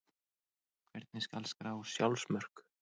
Hvernig skal skrá sjálfsmörk?